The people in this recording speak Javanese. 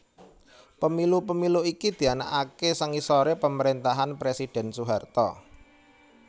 Pemilu Pemilu iki dianakaké sangisoré pamaréntahan Presidhèn Soeharto